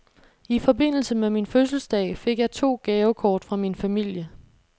I forbindelse med min fødselsdag fik jeg to gavekort fra min familie.